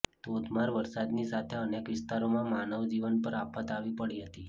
ધોધમાર વરસાદની સાથે અનેક વિસ્તારોમાં માનવજીવન પર આફત આવી પડી હતી